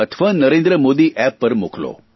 અથવા નરેન્દ્ર મોદી એપ પર મોકલો